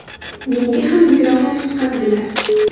Menga ham mikrofon tutqazdilar.